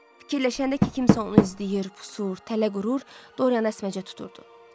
Fikirləşəndə ki kimsə onu izləyir, pusur, tələ qurur, Dorianı əsməcə tuturdu.